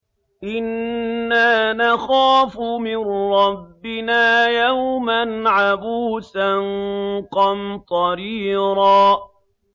إِنَّا نَخَافُ مِن رَّبِّنَا يَوْمًا عَبُوسًا قَمْطَرِيرًا